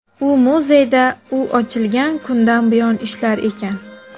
U muzeyda u ochilgan kundan buyon ishlar ekan.